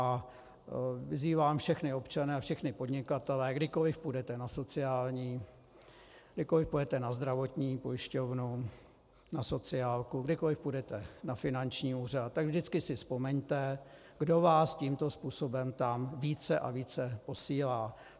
A vyzývám všechny občany a všechny podnikatele, kdykoliv půjdete na sociální, kdykoliv půjdete na zdravotní pojišťovnu, na sociálku, kdykoliv půjdete na finanční úřad, tak vždycky si vzpomeňte, kdo vás tímto způsobem tam více a více posílá.